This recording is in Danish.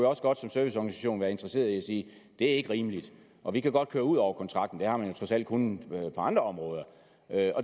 også godt som serviceorganisation være interesseret i at sige det er ikke rimeligt og vi kan godt køre ud over kontrakten det har man trods alt kunnet gøre andre områder